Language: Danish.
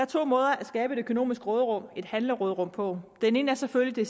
to måder at skabe et økonomisk råderum og et handleråderum på den ene er selvfølgelig